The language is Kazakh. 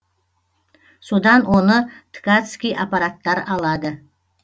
содан оны ткатцкий аппараттар алады